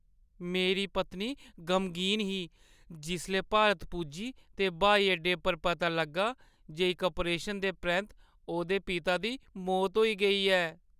मेरी पत्नी गमगीन ही जिसलै भारत पुज्जी ते ब्हाई अड्डे पर पता लग्गा जे इक ऑपरेशन दे परैंत्त ओह्दे पिता दी मौत होई गेई ऐ।